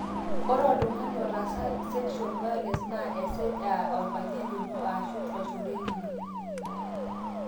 ore oltung'ani otaasa in sexual violence naa esej aa orpayian lino aashu olchore lino